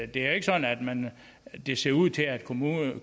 det er ikke sådan at det ser ud til at kommunerne